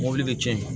Mɔbili bɛ cɛn